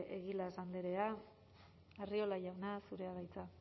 saez de egilaz andrea arriola jauna zurea da hitza